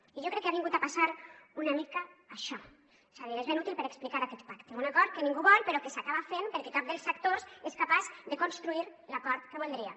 i jo crec que ha vingut a passar una mica això és a dir és ben útil per explicar aquest pacte un acord que ningú vol però que s’acaba fent perquè cap dels actors és capaç de construir l’acord que voldria